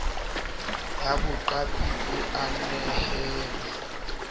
ya boqapi e a nehelwa